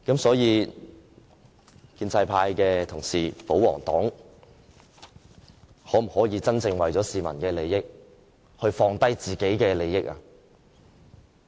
所以，建制派同事——保皇黨——可否為了市民的利益，放下自己的利益？